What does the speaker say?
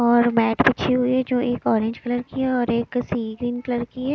और मैट बिछी हुई है जो एक ऑरेंज कलर की है और सिविंग कलर की है।